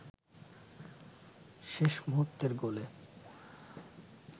শেষ মুহূর্তের গোলে